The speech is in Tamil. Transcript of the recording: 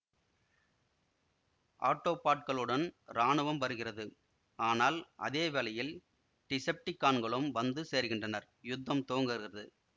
ஆட்டோபாட்களுடன் இராணுவம் வருகிறது ஆனால் அதே வேளையில் டிசெப்டிகான்களும் வந்து சேருகின்றனர் யுத்தம் துவங்குகிறது